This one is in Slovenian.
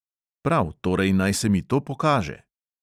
Prav, torej naj se mi to pokaže!